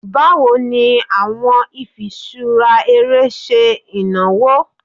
Bawo ni awọn ifiṣura ere ṣe inawo?